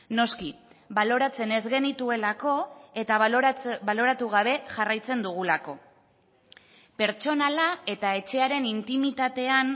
noski baloratzen ez genituelako eta baloratu gabe jarraitzen dugulako pertsonala eta etxearen intimitatean